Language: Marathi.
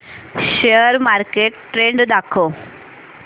शेअर मार्केट ट्रेण्ड दाखव